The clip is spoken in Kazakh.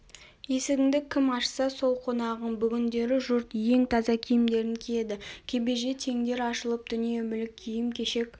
есігіңді кім ашса сол қонағың бүгіндері жұрт ең таза киімдерін киеді кебеже теңдер ашылып дүние-мүлік киім-кешек